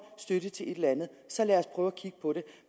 støtte til et eller andet så lad os prøve at kigge på det